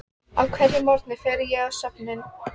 Á hverjum morgni fer ég á söfnin.